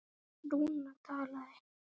Lúna talaði: